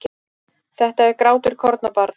Þetta er grátur kornabarns.